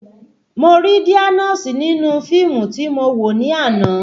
Mo ri dáínósọ̀ nínú fíìmù tí mo wò ní àná